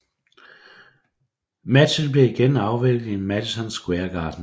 Matchen blev igen afviklet i Madison Square Garden